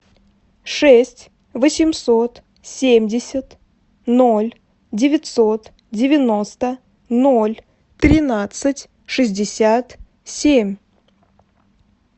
шесть восемьсот семьдесят ноль девятьсот девяносто ноль тринадцать шестьдесят семь